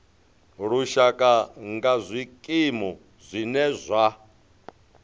lushaka nga zwikimu zwine zwa